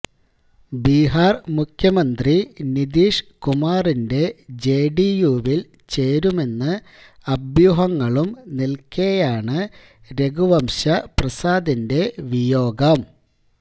ബിഹാര് മുഖ്യമന്ത്രി നിതീഷ് കുമാറിന്റെ ജെഡിയുവില് ചേരുമെന്ന് അഭ്യൂഹങ്ങളും നിലക്കെയാണ് രഘുവംശ പ്രസാദിന്റെ വിയോഗം